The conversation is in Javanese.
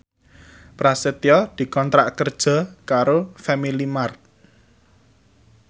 Prasetyo dikontrak kerja karo Family Mart